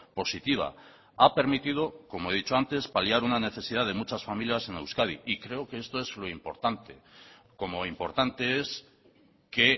positiva ha permitido como he dicho antes paliar una necesidad de muchas familias en euskadi y creo que esto es lo importante como importante es que